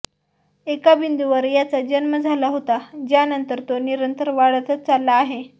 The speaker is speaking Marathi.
एका बिंदूवर ह्याचा जन्म झाला होता ज्यानंतर तो निरंतर वाढतच चालला आहे